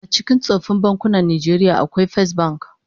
A cikin tsoffin bankunan Najeriya akwai Fesbank